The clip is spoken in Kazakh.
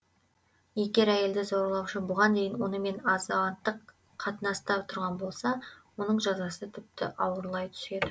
егер әйелді зорлаушы бұған дейін онымен азаматтық қатынаста тұрған болса оның жазасы тіпті ауырлай түседі